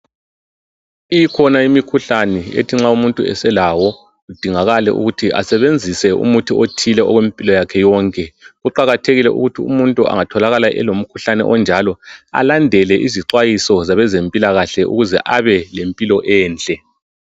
Ikhona imikhuhlani ethi nxa umuntu eselawo kudingakale ukuthi asebenzise umuthi othile okwempilo yakhe yonke. Kuqakathekile ukuthi umuntu engatholakala elomkhuhlani onjalo, alandelele izixwayiso zabezempilakahle ukuze abe lempilo enhle.